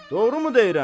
Doğrumu deyirəm?